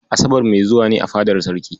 Asabar mai zuwa ne a fadar Sarki.